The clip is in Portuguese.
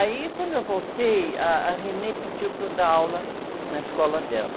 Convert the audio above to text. Aí, quando eu voltei, ah, a pediu para eu dar aula na escola dela.